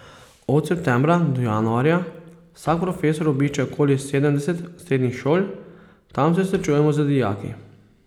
Od septembra do januarja vsak profesor obišče okoli sedemdeset srednjih šol, tam se srečujemo z dijaki.